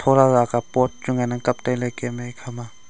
tholala ka pot chu ngan ang kaptailey kemye ekhama.